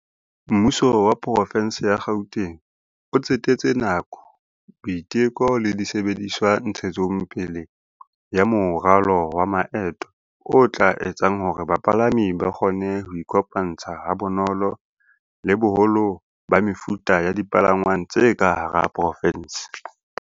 "Mmuso wa Porofenseng ya Gauteng o tsetetse nako, boiteko le disebediswa ntshetsopeleng ya moralo wa maeto o tla etsang hore bapalami ba kgone ho iko pantsha ha bonolo le boholo ba mefuta ya dipalangwang tse ka hara porofense."